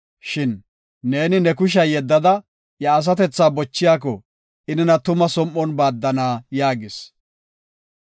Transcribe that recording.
Shin, “Neeni ne kushiya yeddada iya asatethaa bochiyako, I nena tuma som7on baaddana” yaagis.